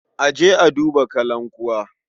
A je a duba kalankuwa.